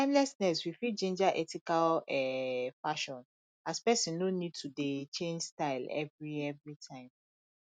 with timelessness we fit ginger ethical um fashion as person no need to dey change style every every time